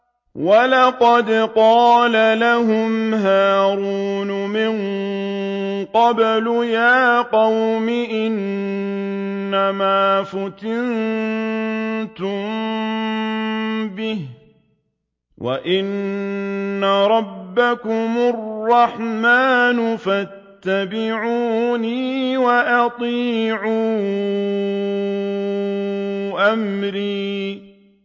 وَلَقَدْ قَالَ لَهُمْ هَارُونُ مِن قَبْلُ يَا قَوْمِ إِنَّمَا فُتِنتُم بِهِ ۖ وَإِنَّ رَبَّكُمُ الرَّحْمَٰنُ فَاتَّبِعُونِي وَأَطِيعُوا أَمْرِي